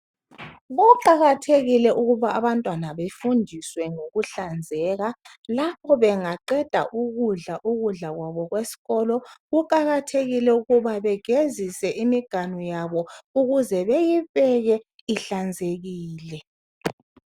Kuqakathekile ukuba abantwana befundiswe ngokuhlanzeka lapho bengaqeda ukudla, ukudla kwabo kwesikolo, kuqakathekile ukuba begezise imiganu yabo ukuze beyibeke ihlanzekile.